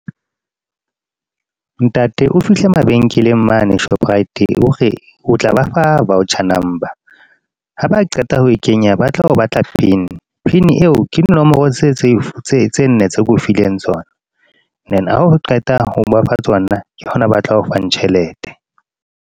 Ntate, o fihle mabenkeleng mane Shoprite. Hore, o tla ba fa voucher number. Ha ba qeta ho kenya ba tla o batla pin. Pin eo ke dinomoro tse tse nne keo fileng tsona. Then ha o qeta ho ba fa tsona ke hona ba tla o fang tjhelete.